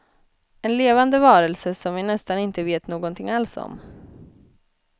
En levande varelse som vi nästan inte vet någonting alls om.